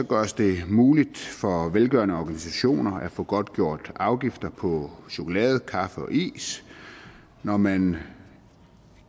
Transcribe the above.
gøres det muligt for velgørende organisationer at få godtgjort afgifter på chokolade kaffe og is når man